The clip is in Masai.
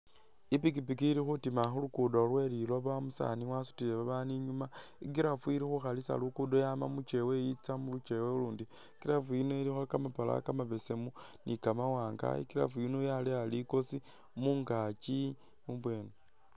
Ipikipiki ili khutima khulugudo lweli looba umusaani wasutile babaandu I'nyuma i'giraffu ili khukhalisa lugudo yama mukewa i'tsa mu lukewa lulundi i'giraffu yino ilikho kamapala kamabesemu ni kamawaanga i'giraffu yino yaleya likoosi mungaki mubwene